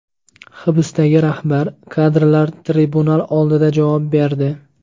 Hibsdagi rahbar kadrlar tribunal oldida javob berdi.